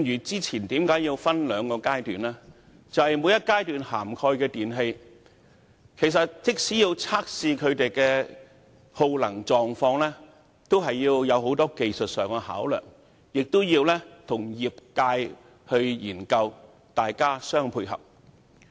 早前的計劃需要分兩個階段實施，正正因為在每一階段涵蓋的電器，均須經過測試來確定耗能狀況，當中涉及很多技術上的考量，亦要與業界研究，各方互相配合。